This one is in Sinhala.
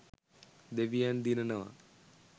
දෙවියන් දිනනවා.